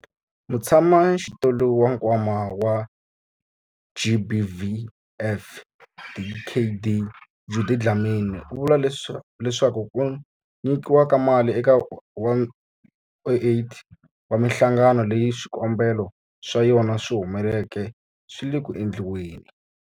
Mutshamaxitulu wa Nkwama wa GBVF, Dkd Judy Dlamini, u vule leswaku ku nyikiwa ka mali eka 108 wa mihlangano leyi swikombelo swa yona swi humeleleke swi le ku endliweni.